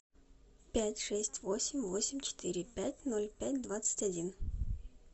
пять шесть восемь восемь четыре пять ноль пять двадцать один